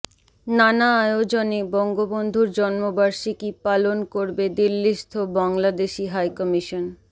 নানা আয়োজনে বঙ্গবন্ধুর জন্মবার্ষিকী পালন করবে দিল্লিস্থ বাংলাদেশি হাইকমিশন